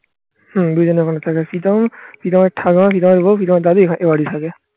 হম দুজনে মিলে থাকে প্রীতম প্রীতমের ঠাম্মা প্রীতমের বউ প্রীতমের দাদি এবাড়িতে থাকে